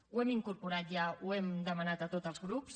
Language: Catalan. ho hem incorporat ja ho hem demanat a tots els grups